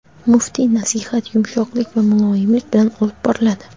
Muftiy: "Nasihat – yumshoqlik va muloyimlik bilan olib boriladi".